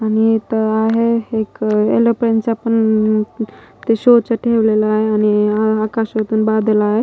आणि इथं आहे एक एलोप्लेन चा पण ते शो च ठेवलेलं आहे आणि आकाशातून बादल आहे.